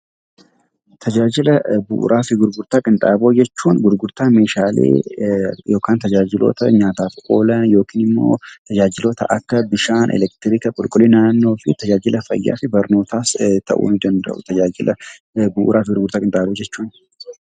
Tajaajila meeshaalee fi gurgurtaa qinxaanboo jechuun gurgurtaa meeshaalee yookiin tajaajiloota nyaataaf oolan yookiin tajaajiloota kanneen akka bishaan, elektiriika, qulqullina naannoo fi barnootaas ta'uu ni danda'u.